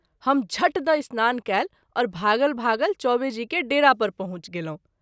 हम झट द’ स्नान कएल और भागल भागल चौबेजी के डेरा पर पहुँच गेलहुँ।